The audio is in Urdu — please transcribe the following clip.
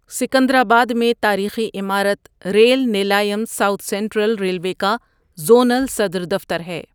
سکندرآباد میں تاریخی عمارت Rail Nilayam South Central Railway کا زونل صدر دفتر ہے۔